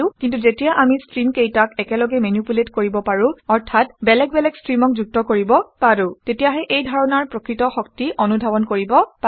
কিন্তু যেতিয়া আমি ষ্টীমকেইটাক একেলগে মেনিপুলেট কৰিব পাৰোঁ অৰ্থাৎ বেলেগ বেলেগ ষ্ট্ৰীমক যুক্ত কৰিব পাৰোঁ তেতিয়াহে এই ধাৰণাৰ প্ৰকৃত শক্তি অনুধাৱন কৰিব পাৰি